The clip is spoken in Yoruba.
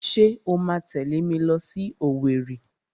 Ṣé o máa tẹ̀lé mi lọ sí Owerri?